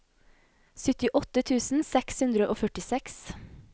syttiåtte tusen seks hundre og førtiseks